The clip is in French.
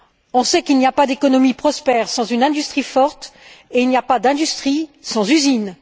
On sait qu'il n'y a pas d'économie prospère sans une industrie forte et qu'il n'y a pas d'industrie sans usines.